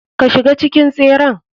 Ka shiga cikin tseren.